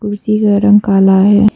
कुर्सी का रंग काला है।